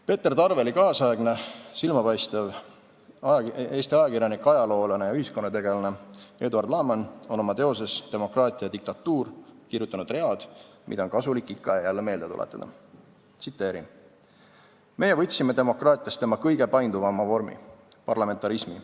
Peeter Tarveli kaasaegne, silmapaistev Eesti ajakirjanik, ajaloolane ja ühiskonnategelane Eduard Laaman on oma teoses "Demokraatia ja diktatuur" kirjutanud read, mida on kasulik ikka ja jälle meelde tuletada: "Meie võtsime demokraatiast tema kõige painduvama vormi – parlamentarismi.